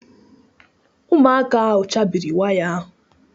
Ụmụaka ahụ chabiri waya ahụ